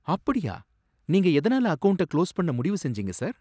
அப்படியா! நீங்க எதுனால அக்கவுண்ட்ட க்ளோஸ் பண்ண முடிவுசெஞ்சீங்க சார்?